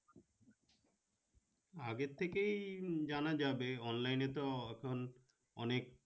আগে থেকেই জানা যাবে online এ তো এখন অনেক